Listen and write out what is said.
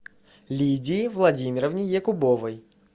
лидии владимировне якубовой